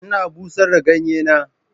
Ina bushar da ganye na.